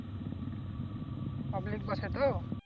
public এ তো?